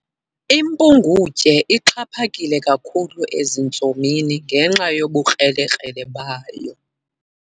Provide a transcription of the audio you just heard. Impungutye ixhaphake kakhulu ezintsomini ngenxa yobukrele-krele bayo.